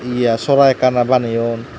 eyaa sora ekkan ar baneyon.